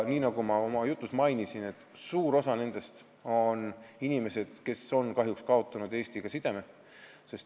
Nagu ma oma jutus mainisin, suur osa nendest on inimesed, kes on kahjuks kaotanud Eestiga sideme.